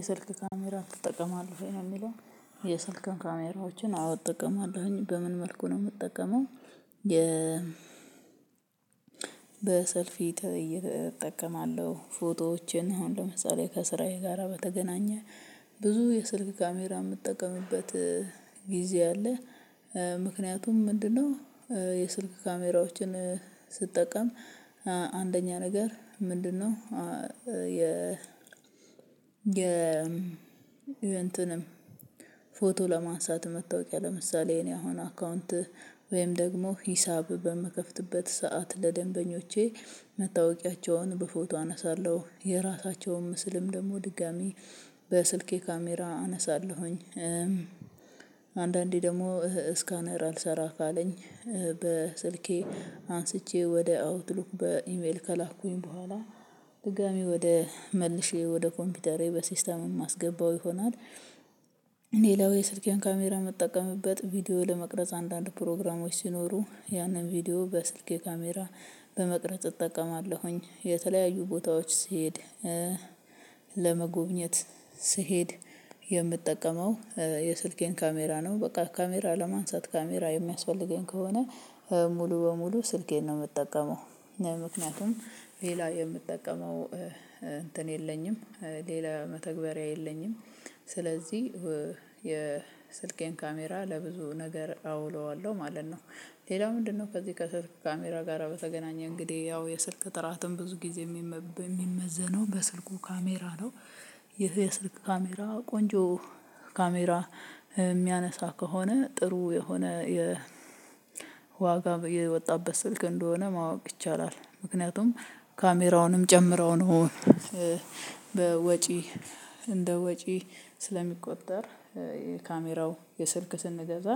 የሰልክ ካሜራ ትጠቀማለህ ወይ ነው የሚለው? የሰልክን ካሜራዎችን አው እጠቀማለሁኝ በምን መልኩ ነው የምጠቀመው። የ በሰልፊ እጠቀማለሁ ፎቶዎችን አሁን ለምሳሌ ከስራዬ ጋራ በተገናኘ ብዙ የስልክ ካሜራ የምጠቀምበት ጊዜ አለ። ምክንያቱም ምንድነው የስልክ ካሜራዎችን ስጠቀም አንደኛ ነገር ምንድነው? የ የ እንትንም ፎቶ ለማንሳት መታወቂያ ለምሳሌ የኔ አሁን አካውንት ወይም ደግሞ ሂሳብ በምከፍትበት ሰዓት ለደንበኞቼ መታወቂያቸውን በፎቶ አነሳለሁ የራሳቸውን ምስልም ደግሞ ድጋሚ በስልኬ ካሜራ አነሳለሁኝ። አንዳንዴ ደግሞ ስካነር አልሰራ ካለኝ በስልኬ አንስቼ ወደ አውትሉክ በኢሜል ከላኩኝ በኋላ ድጋሚ ወደ መልሼ ወደ ኮምፒውተሬ በሲስተም የማስገባው ይሆናል። ሌላው የስልክዬን ካሜራ ምጠቀምበት ቪዲዮ ለመቅረጽ አንዳንድ ፕሮግራሞች ሲኖሩ ያንን ቪዲዮ በስልኬ ካሜራ በመቅረጽ እጠቀማለሁኝ የተለያዩ ቦታዎች ስሄድ ለመጎብኘት ስሄድ የምጠቀመው የስልኬን ካሜራ ነው። በቃ ካሜራ ለማንሳት ካሜራ የሚያስፈልገኝ ከሆነ ሙሉ በሙሉ ስልኬን ነው የምጠቀመው። ምክንያቱም ሌላ የምጠቀመው እንትን የለኝም ሌላ መተግበሪያ የለኝም። ስለዚህ የስልኬን ካሜራ ለብዙ ነገር አውለዋለሁ ማለት ነው። ሌላው ምንድነው? ከዚህ ከስልክ ካሜራ ጋር በተገናኘ እንግዲህ ያው የስልክ ጥራትም ብዙ ጊዜ የሚመዘነው በስልኩ ካሜራ ነው። ይህ የስልክ ካሜራ ቆንጆ ካሜራ የሚያነሳ ከሆነ ጥሩ የሆነ የ ዋጋ የወጣበት ስልክ እንደሆነ ማወቅ ይቻላል። ምክንያቱም ካሜራውንም ጨምረው ነው። በወጪ እንደ ወጪ ስለሚቆጠር የካሜራው የስልክ ስንገዛ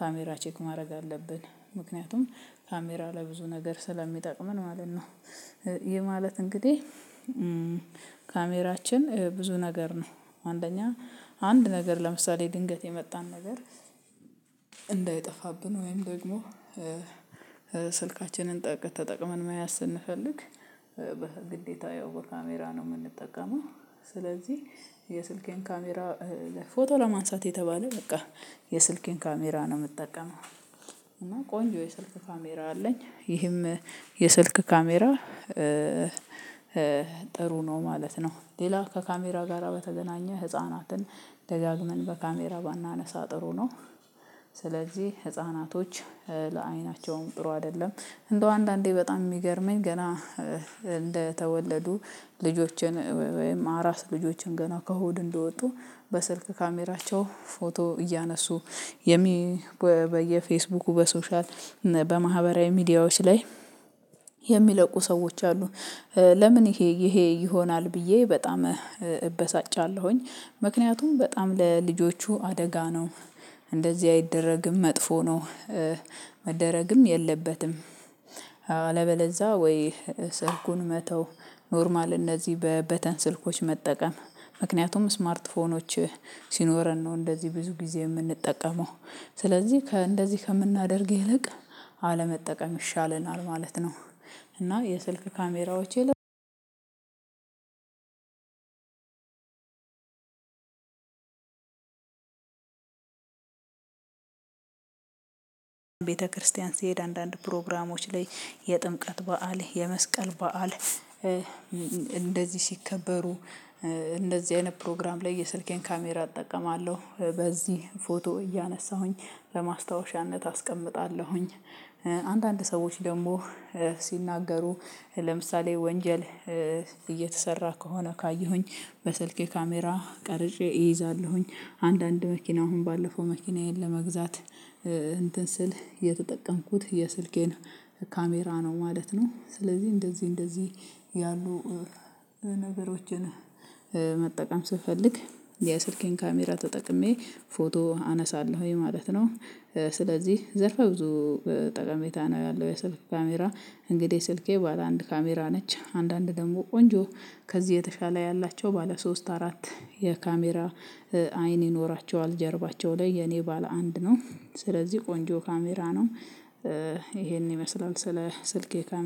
ካሜራ ቼክ ማድረግ አለብን። ምክንያቱም ካሜራ ለብዙ ነገር ስለሚጠቅመን ማለት ነው። ይሄ ማለት እንግዲህ ካሜራችን ብዙ ነገር ነው አንደኛ አንድ ነገር ለምሳሌ ድንገት የመጣን ነገር እንዳይጠፋብን ወይም ደግሞ ስልካችንን ተጠቅመን መያዝ ስንፈልግ በግዴታ ያው በካሜራ ነው የምንጠቀመው። ስለዚህ የስልኬን ካሜራ ፎቶ ለማንሳት የተባለ በቃ የስልኬን ካሜራ ነው የምጠቀመው። እና ቆንጆ የስልክ ካሜራ አለኝ ይህም የስልክ ካሜራ ጥሩ ነው ማለት ነው። ሌላ ከካሜራ ጋራ በተገናኘ ህፃናትን ደጋግመን በካሜራ ባናነሳ ጥሩ ነው። ስለዚህ ህፃናቶች ለአይናቸውም ጥሩ አይደለም። እንደው አንዳንዴ በጣም የሚገርመኝ ገና እንደተወለዱ ልጆችን ወይም አራስ ልጆችን ገና ከሆድ እንደወጡ በስልክ ካሜራቸው ፎቶ እያነሱ የሚ በየፌስቡኩ በሶሻል በማህበራዊ ሚዲያዎች ላይ የሚለቁ ሰዎች አሉ። ለምን? ይሄ ይሄ ይሆናል ብዬ በጣም እበሳጫለሁኝ ምክንያቱም በጣም ለልጆቹ አደጋ ነው። እንደዚህ አይደረግም መጥፎ ነው። መደረግም የለበትም። አለበለዛ ወይ ሰልኩን መተው ኖርማል እነዚህ በበተን ስልኮች መጠቀም ምክንያቱም ስማርትፎኖች ሲኖረን ነው እንደዚህ ብዙ ጊዜ የምንጠቀመው ስለዚህ ከእንደዚህ ከምናደርግ ይልቅ አለመጠቀም ይሻለናል ማለት ነው። እና የስልክ ካሜራዎች ቤተክርስቲያን ስሄድ አንዳንድ ፕሮግራሞች ላይ የጥምቀት በዓል የመስቀል በዓል እንደዚህ ሲከበሩ እንደዚህ አይነት ፕሮግራም ላይ የሰልኬን ካሜራ እጠቀማለሁ በዚህ ፎቶ እያነሳሁኝ ለማስታወሻነት አስቀምጣለሁኝ። አንዳንድ ሰዎች ደግሞ ሲናገሩ ለምሳሌ ወንጀል እየተሰራ ከሆነ ካየሁኝ በስልኬ ካሜራ ቀርጬ እይዛለሁኝ። አንዳንድ መኪና አሁን ባለፈው መኪናዬን ለመግዛት እንትን ስል የተጠቀምኩት የስልኬን ካሜራ ነው ማለት ነው። ስለዚህ እንደዚህ እንደዚህ ያሉ ነገሮችን መጠቀም ስፈልግ የስልኬን ካሜራ ተጠቅሜ ፎቶ አነሳለሁኝ ማለት ነው። ስለዚህ ዘርፈ ብዙ ጠቀሜታ ነው ያለው። የሰልክ ካሜራ እንግዲህ ስልኬ ባለ አንድ ካሜራ ነች አንዳንድ ደግሞ ቆንጆ ከዚህ የተሻለ ያላቸው ባለ ሶስት አራት የካሜራ አይን ይኖራቸዋል ጀርባቸው ላይ የኔ ባለ አንድ ነው ስለዚህ ቆንጆ ካሜራ ነው። ይሄን ይመስላል ስለ ስልኬ ካሜራ